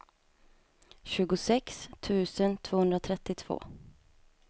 tjugosex tusen tvåhundratrettiotvå